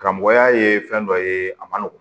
Karamɔgɔya ye fɛn dɔ ye a man nɔgɔn